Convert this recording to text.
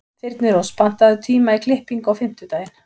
Þyrnirós, pantaðu tíma í klippingu á fimmtudaginn.